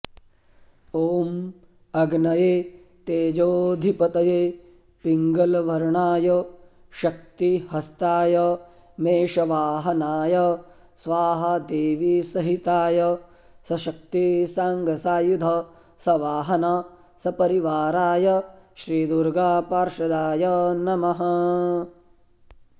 ॐ अग्नये तेजोऽधिपतये पिङ्गलवर्णाय शक्तिहस्ताय मेषवाहनाय स्वाहादेवीसहिताय सशक्तिसाङ्गसायुध सवाहन सपरिवाराय श्री दुर्गापार्षदाय नमः